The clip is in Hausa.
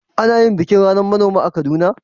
Ana yin bikin ranar manoma a Kaduna?